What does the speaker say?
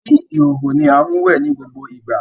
ni ihooho ní a wẹ ní gbogbo ìgbà